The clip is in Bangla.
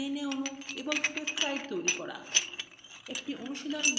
dna অণু এবং peptides তৈরী করা